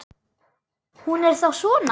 Hún er þá svona!